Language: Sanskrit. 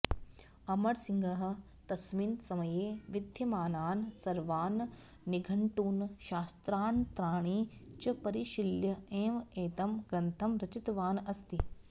अमरसिंहः तस्मिन् समये विद्यमानान् सर्वान् निघण्टून् शास्त्रान्तराणि च परिशील्य एव एतं ग्रन्थं रचितवान् अस्ति